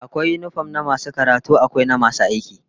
Akwai yinifom na masu karatu, akwai na masu aiki